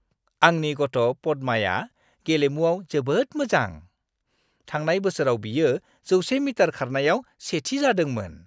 आंनि गथ' पद्माया गेलेमुआव जोबोद मोजां। थांनाय बोसोराव बियो 100 मिटार खारनायाव सेथि जादोंमोन।